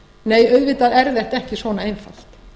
nei auðvitað er þetta ekki svona einfalt